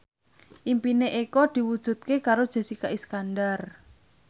impine Eko diwujudke karo Jessica Iskandar